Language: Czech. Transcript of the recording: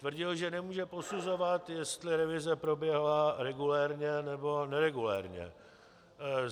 Tvrdil, že nemůže posuzovat, jestli revize proběhla regulérně, nebo neregulérně.